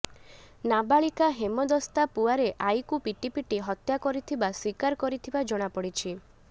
ନାବାଳିକା ହେମଦସ୍ତା ପୁଆରେ ଆଈକୁ ପିଟିପିଟି ହତ୍ୟା କରିଥିବା ସ୍ୱୀକାର କରିଥିବା ଜଣା ପଡ଼ିଛି